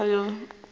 be go se yoo a